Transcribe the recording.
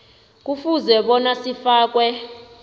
kufuze bona sifakwe